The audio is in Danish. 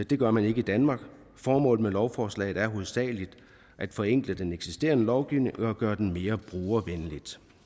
det gør man ikke i danmark formålet med lovforslaget er hovedsagelig at forenkle den eksisterende lovgivning og gøre den mere brugervenlig